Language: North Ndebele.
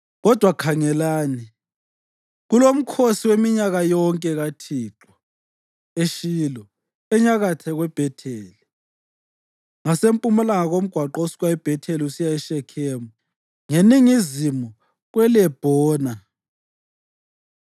Kodwa khangelani, kulomkhosi weminyaka yonke kaThixo eShilo, enyakatho kweBhetheli, ngasempumalanga komgwaqo osuka eBhetheli usiya eShekhemu, ngeningizimu kweLebhona.”